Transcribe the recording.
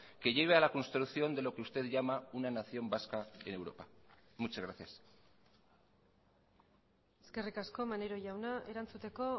que lleve a la construcción de lo que usted llama una nación vasca en europa muchas gracias eskerrik asko maneiro jauna erantzuteko